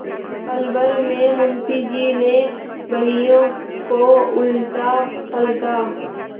पलभर में मुंशी जी ने बहियों को उलटापलटा